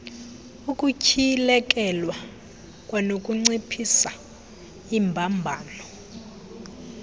ukutyhilekelwa kwanokunciphisa iimbambano